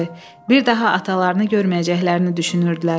Bir daha atalarını görməyəcəklərini düşünürdülər.